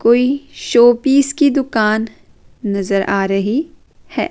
कोई showpiece की दुकान नज़र आ रही है।